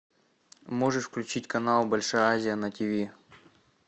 можешь включить канал большая азия на ти ви